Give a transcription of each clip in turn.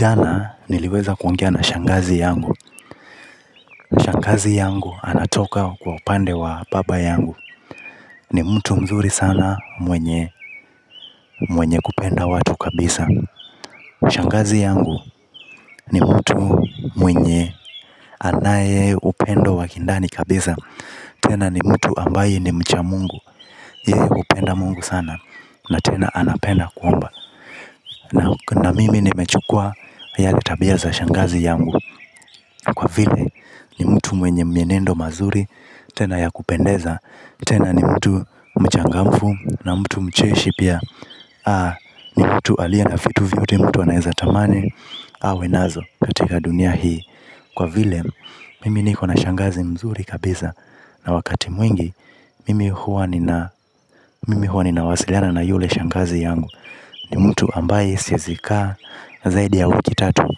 Jana niliweza kuongea na shangazi yangu. Shangazi yangu anatoka kwa upande wa baba yangu. Ni mtu mzuri sana mwenye kupenda watu kabisa. Shangazi yangu ni mtu mwenye anaye upendo wa kindani kabisa. Tena ni mtu ambaye ni mchamungu. Ye upenda mungu sana. Na tena anapenda kuomba. Na mimi nimechukua yale tabia za shangazi yangu. Kwa vile ni mtu mwenye mienendo mazuri tena ya kupendeza tena ni mtu mchangamfu na mtu mcheshi pia aah ni mtu alie na vitu vyote mtu anaweza tamani. Awe nazo katika dunia hii. Kwa vile mimi niko na shangazi mzuri kabiza. Na wakati mwingi mimi huwa nina mimi huwa ninawasiliana na yule shangazi yangu. Ni mtu ambaye siezi kaa zaidi ya wiki tatu.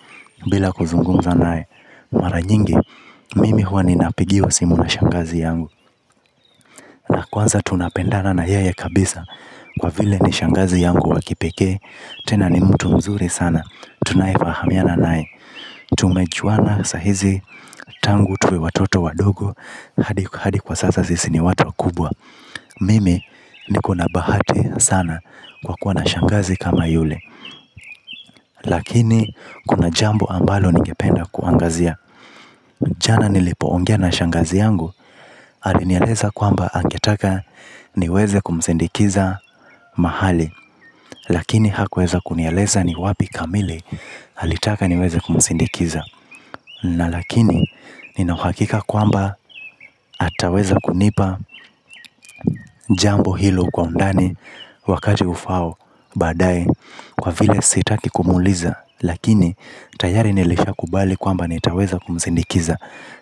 Bila kuzungunza nae. Mara nyingi, mimi huwa ninapigiwa simu na shangazi yangu. Na kwanza tunapendana na yeyee kabisa. Kwa vile ni shangazi yangu wakipeke. Tena ni mtu mzuri sana. Tunayefahamiana nae. Tumechuana sahizi tangu tuwe watoto wadogo. Hadi kwa sasa sisi ni watu wakubwa. Mimi niko na bahati sana kwa kuwa na shangazi kama yule. Lakini kuna jambo ambalo ningependa kuangazia. Jana nilipoongea na shangazi yangu, alinialeza kwamba angetaka niweze kumsindikiza mahali. Lakini hakuweza kunialeza ni wapi kamili alitaka niweze kumsindikiza. Na lakini nina huakika kwamba ataweza kunipa jambo hilo kwa undani wakati ufao badae kwa vile sitaki kumuliza. Lakini tayari nilisha kubali kwamba nitaweza kumsindikiza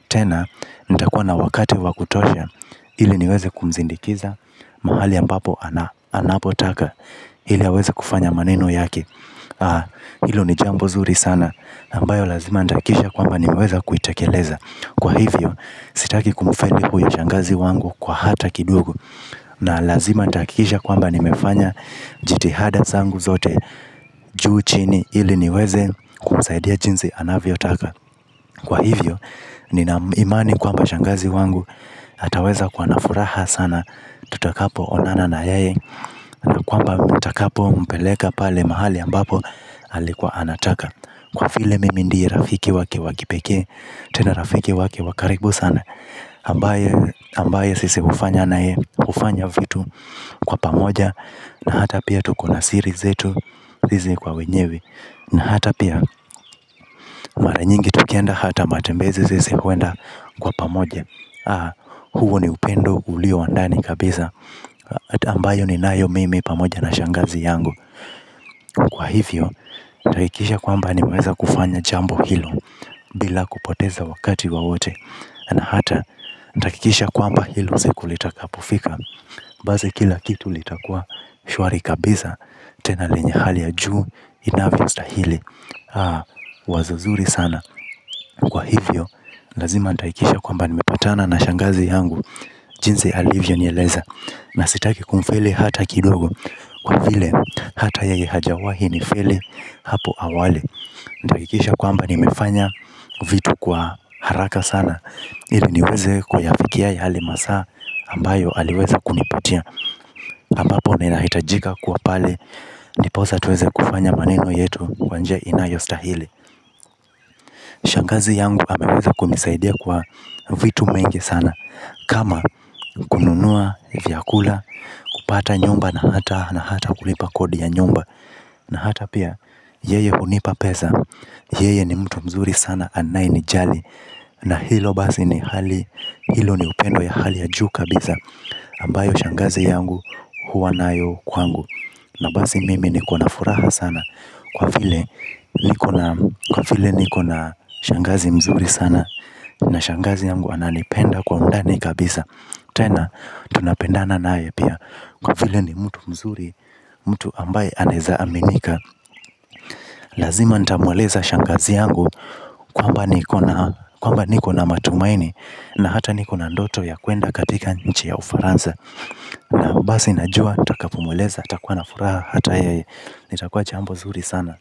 tena nitakuwa na wakati wa kutosha iliniweze kumsindikiza mahali ambapo anapotaka ili haweze kufanya maneno yake. Haa ilo ni jambo nzuri sana nambayo lazima nitahakisha kwamba nimeweza kuitakeleza. Kwa hivyo sitaki kumfeli huyo shangazi wangu kwa hata kidogo na lazima nitahakisha kwamba nimefanya jitihada zangu zote juu chini ili niweze kumzaidia jinzi anavyo taka. Kwa hivyo, nina imani kwamba shangazi wangu ataweza kuwa nafuraha sana tutakapo onana na yae. Na kwamba mutakapo mpeleka pale mahali ambapo alikuwa anataka. Kwa vile mimi ndiye rafiki wake wakipeke, tena rafiki wake wakaribu sana ambaye sisi ufanya nae, ufanya vitu kwa pamoja na hata pia tukona siri zetu sisi kwa wenyewe. Na hata pia mara nyingi tukienda hata matembezi sisi huenda kwa pamoja. Huu ni upendo ulio wandani kabisa ambayo ninayo mimi pamoja na shangazi yangu. Kwa hivyo, takikisha kwamba nimeweza kufanya jambo hilo. Bila kupoteza wakati waote na hata nitahakikisha kwamba hilo siku litakapofika basi kila kitu litakuwa shwari kabisa. Tena lenye hali ya juu inavyo stahili. Wazo zuri sana. Kwa hivyo lazima nitahakisha kwamba nimepatana na shangazi yangu. Jinzi alivyo nieleza. Na sitaki kumfele hata kidogo. Kwa vile hata yeye hajawahi nifeli. Hapo hawali. Ndakikisha kwamba nimefanya vitu kwa haraka sana. Ili niweze kwayafikia yalemasa ambayo aliweza kunipatia ambapo ninahitajika kuwa pale ndiposa tuweze kufanya maneno yetu kwa njia inayostahili. Shangazi yangu ameweza kunisaidia kwa vitu mengi sana. Kama kununua vyakula kupata nyumba na hata kulipa kodi ya nyumba. Na hata pia yeye hunipa peza. Yeye ni mtu mzuri sana anayenijali. Na hilo basi ni hali hilo ni upendo ya hali ya juu kabiza Ambayo Shangazi yangu huwa nayo kwangu. Na bazi mimi niko na furaha sana. Kwa vile niko na shangazi mzuri sana. Na shangazi yangu ananipenda kwa undani kabisa. Tena tunapendana nae pia. Kwa vile ni mtu mzuri. Mtu ambaye anaezaaminika. Lazima nitamweleza shangazi yangu kwamba niko na matumaini. Na hata niko na ndoto ya kuenda katika nchi ya ufaranza. Bazi najua nitakapomweleza nitakua na furaha hata yeye itakuwa jambo zuri sana.